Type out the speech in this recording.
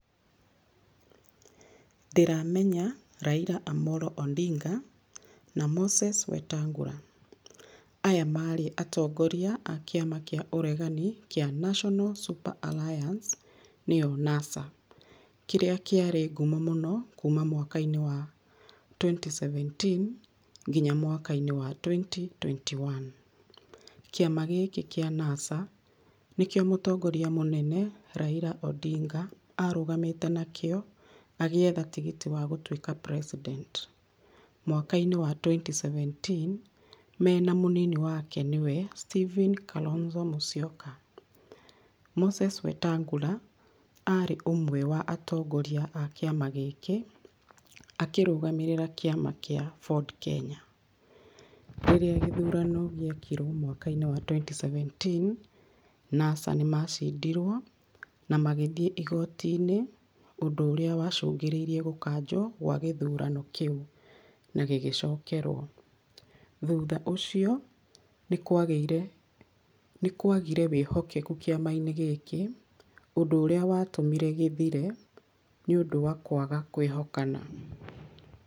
Ndĩramenya Raila Amollo Odinga na Moses Wetangula. Aya marĩ atongoria a kĩama kĩa ũregani kĩa National Super Alliance nĩyo NASA, kĩrĩa kĩarĩ nguo mũno kuma mwaka wa twenty seventeen nginya mwaka-inĩ wa twenty twenty one. Kĩama gĩkĩ kĩa NASA nĩkĩo mũtongoria mũnene Raila Odinga, arũgamĩte nakĩo agĩetha tigiti wa gũtuĩka president mwaka-inĩ wa twenty seventeen mena mũnini wake nĩwe Steven Kalonzo Mũsyoka. Moses Wetangula, arĩ ũmwe wa atongoria a kĩama gĩkĩ akĩrũgamĩrĩra kĩama kĩa Ford Kenya. Rĩrĩa gĩthurano gĩekirwo mwaka-inĩ wa twenty seventeen, NASA nĩ macindirwo na magĩthiĩ igoti-inĩ, ũndũ ũrĩa wacũngĩrĩirie gũkanjwo kwa gĩthurano kĩu na gĩgĩcokerwo. Thutha ũcio nĩ kwagĩire, nĩ kwagire wĩhokeku kĩama-inĩ gĩkĩ, ũndũ ũrĩa watũmire gĩthire nĩũndũ wa kwaga kwĩhokana.